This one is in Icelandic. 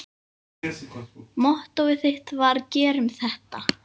Mottóið þitt var: Gerum þetta!